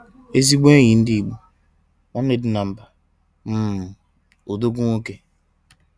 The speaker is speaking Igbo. ezigbo enyi ndigbo! nwanne dinamba! um odogwu nwoke!!!